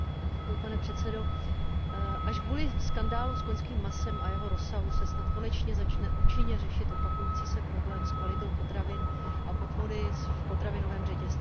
Pane předsedající, až kvůli skandálu s koňským masem a jeho rozsahu se snad konečně začne účinně řešit opakující se problém s kvalitou potravin a podvody v potravinovém řetězci.